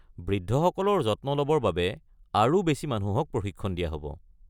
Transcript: বৃদ্ধসকলৰ যত্ন ল’বৰ বাবে আৰু বেছি মানুহক প্ৰশিক্ষণ দিয়া হ’ব।